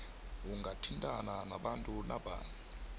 ungathintana nabantu napa